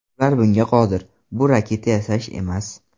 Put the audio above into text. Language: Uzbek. Ular bunga qodir, bu raketa yasash emas.